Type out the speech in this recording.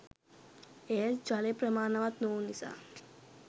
ඒත් ජලය ප්‍රමාණවත් නොවූ නිසා